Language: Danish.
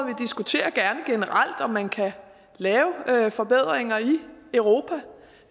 diskuterer gerne generelt om man kan lave forbedringer i europa